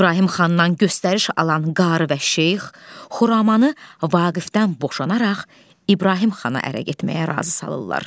İbrahim xandan göstəriş alan qarı və şeyx Xuramanı Vaqifdən boşanaraq İbrahim xana ərə getməyə razı salırlar.